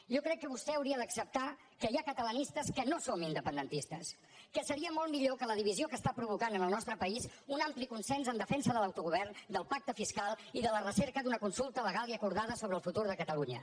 jo crec que vostè hauria d’acceptar que hi ha catalanistes que no som independentistes que seria molt millor que la divisió que està provocant en el nostre país un ampli consens en defensa de l’autogovern del pacte fiscal i de la recerca d’una consulta legal i acordada sobre el futur de catalunya